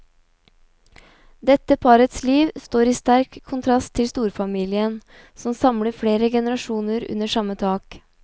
Dette parets liv står i sterk kontrast til storfamilien som samler flere generasjoner under samme tak.